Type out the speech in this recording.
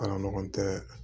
A ɲɔgɔn tɛ